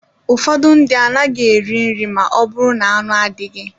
Ụfọdụ ndị anaghị eri nri ma ọ bụrụ na-anụ adịghị